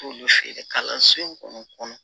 T'olu feere kalanso in kɔnɔ